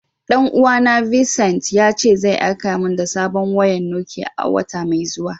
Dan uwa na Vincent, ya ce zai aika mun sabon wayan Nokiya a'wata mai zuwa.